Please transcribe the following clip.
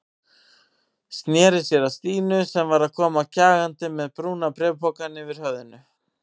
Sneri sér að Stínu sem var að koma kjagandi með brúna bréfpokann yfir höfðinu.